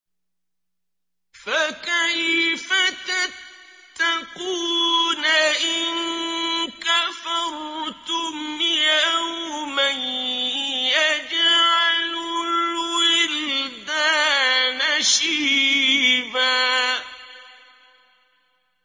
فَكَيْفَ تَتَّقُونَ إِن كَفَرْتُمْ يَوْمًا يَجْعَلُ الْوِلْدَانَ شِيبًا